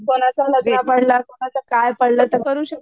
कोणाचं लग्न पडलं कोणाचं काय पडलं तर